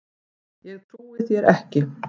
Ég trúi þér ekki.